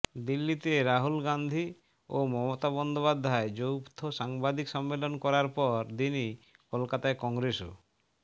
দিল্লিতে রাহুল গাঁধী ও মমতা বন্দ্যোপাধ্যায় যৌথ সাংবাদিক সম্মেলন করার পর দিনই কলকাতায় কংগ্রেস ও